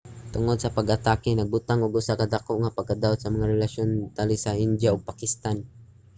tungod sa pag-atake nagbutang og usa ka dako nga pagkadaot sa mga relasyon tali sa india ug pakistan